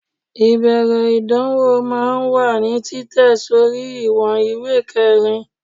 ibeere idanwo máà ń wa ní Titẹ sorí iwon ìwé kerín